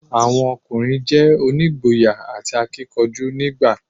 Àwọn ọkùnrin je onígboyà àti akíkanjú nígbà i